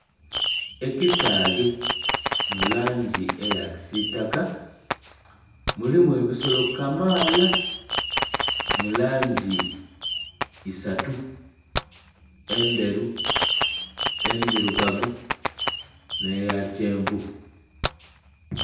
Ekisaghe mu langi eya kisiitaka, mulimu ebisolo kamaala mu langi isatu - endheru, endhirugavu nh'eya kyenvu.